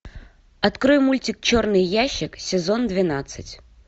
открой мультик черный ящик сезон двенадцать